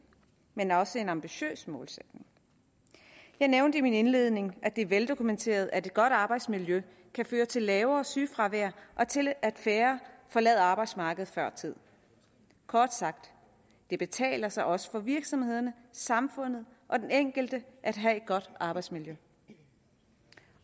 men også en ambitiøs målsætning jeg nævnte i min indledning at det er veldokumenteret at et godt arbejdsmiljø kan føre til lavere sygefravær og til at færre forlader arbejdsmarkedet før tid kort sagt det betaler sig også for virksomhederne samfundet og den enkelte at have et godt arbejdsmiljø